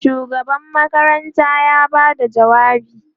shugaban makaranta ya Bada jawabi